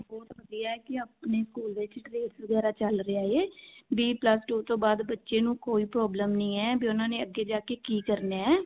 ਬਹੁਤ ਵਧੀਆ ਹੈ ਕਿ ਆਪਣੇ school ਵਿੱਚ grace ਵਗੇਰਾ ਚੱਲ ਰਿਹਾ ਹੈ ਵੀ plus two ਤੋਂ ਬਾਅਦ ਬੱਚੇ ਨੂੰ ਕੋਈ problem ਨਹੀ ਹੈ ਵੀ ਉਹਨਾਂ ਨੇ ਅੱਗੇ ਜਾ ਕਿ ਕੀ ਕਰਨਾ ਹੈ